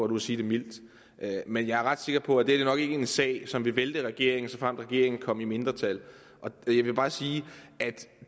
nu at sige det mildt men jeg er ret sikker på at dette nok ikke er en sag som ville vælte regeringen såfremt regeringen kom i mindretal jeg vil bare sige at